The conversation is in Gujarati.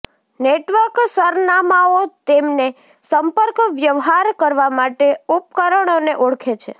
નેટવર્ક સરનામાંઓ તેમને સંપર્કવ્યવહાર કરવા માટે ઉપકરણોને ઓળખે છે